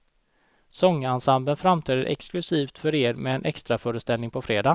Sångensemblen framträder exklusivt för er med en extraföreställning på fredag.